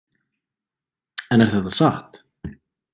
En er þetta satt?